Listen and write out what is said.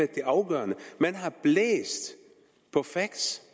det afgørende man har blæst på facts